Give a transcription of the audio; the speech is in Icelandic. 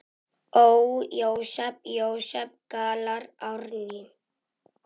Ó, Jósep, Jósep, galar Árný.